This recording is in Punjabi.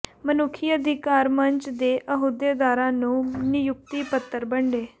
ਮਨੁੱਖੀ ਅਧਿਕਾਰ ਮੰਚ ਦੇ ਅਹੁਦੇਦਾਰਾਂ ਨੂੰ ਨਿਯੁਕਤੀ ਪੱਤਰ ਵੰਡੇ